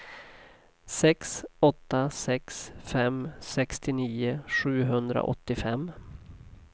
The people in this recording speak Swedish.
sex åtta sex fem sextionio sjuhundraåttiofem